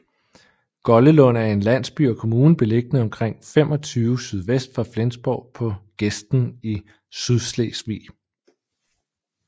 Goldelund er en landsby og kommune beliggende omtrent 25 sydvest for Flensborg på gesten i Sydslesvig